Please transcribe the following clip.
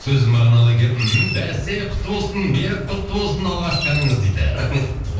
сөзі мағыналы екен мхм бәсе құтты болсын берік құтты болсын алғашқы әніңіз дейді рахмет